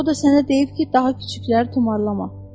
O da sənə deyib ki, daha kiçikləri tumarlama.